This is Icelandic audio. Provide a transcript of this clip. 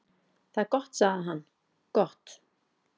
"""Það er gott sagði hann, gott"""